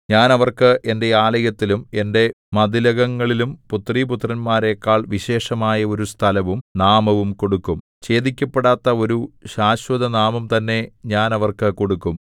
ഞാൻ അവർക്ക് എന്റെ ആലയത്തിലും എന്റെ മതിലകങ്ങളിലും പുത്രീപുത്രന്മാരെക്കാൾ വിശേഷമായ ഒരു സ്ഥലവും നാമവും കൊടുക്കും ഛേദിക്കപ്പെടാത്ത ഒരു ശാശ്വതനാമം തന്നെ ഞാൻ അവർക്ക് കൊടുക്കും